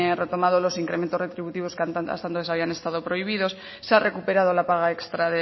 retomado los incrementos retributivos que antes habían estado prohibidos se ha recuperado la paga extra